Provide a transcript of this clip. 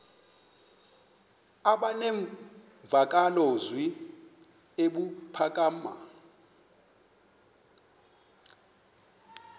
aba nemvakalozwi ebuphakama